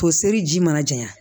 Toseri ji mana janya